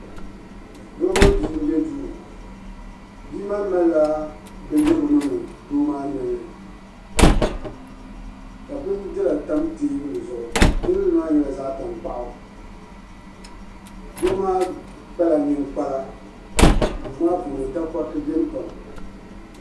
Doo mini bia n bɛ duu doo maa zaŋla bindira n niŋdi bia maa nolini ka bindira tam teebuli zuɣu teebuli maa nyɛla zaɣ tankpaɣu doo maa kpala ninkpara duu maa puuni takoriti biɛni pam